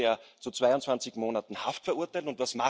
Zusätzlich wurde er zu 22 Monaten Haft verurteilt.